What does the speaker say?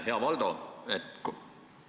Hea Valdo!